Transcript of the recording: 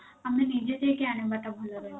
ଆମେ ନିଜେ ଯାଇକି ଆଣିବା ଟା ଭଲ ରହିବ